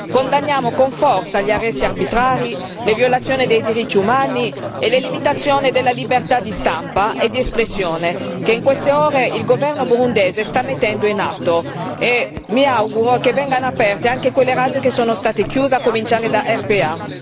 Condanniamo con forza gli arresti arbitrari, le violazioni dei diritti umani e le limitazioni della libertà di stampa e di espressione che in queste ore il governo burundese sta mettendo in atto e mi auguro che vengano aperte anche quelle radio che sono state chiuse, a cominciare da RPA.